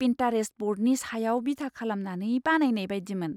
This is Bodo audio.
पिन्टारेस्ट ब'र्डनि सायाव बिथा खालामनानै बानायनाय बायदिमोन!